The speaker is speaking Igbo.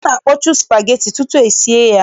A na-akpọchu spageti tutu esie ya.